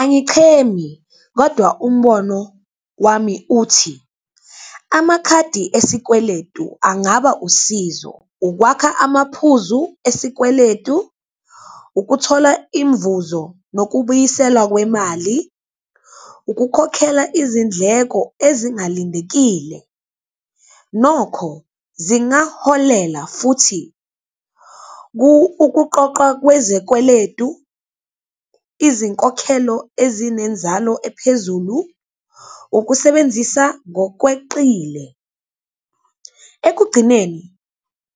Angichemi kodwa umbono wami uthi amakhadi esikweletu angaba usizo ukwakha amaphuzu esikweletu, ukuthola imvuzo nokubuyiselwa kwemali, ukukhokhela izindleko ezingalindekile. Nokho, zingaholela futhi ukuqoqwa kwezekweletu, izinkokhelo ezinenzalo ephezulu, ukusebenzisa ngokweqile. Ekugcineni